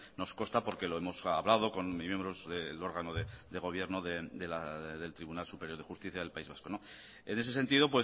nos consta porque lo hemos hablado con miembros del órgano de gobierno del tribunal superior de justicia del país vasco en ese sentido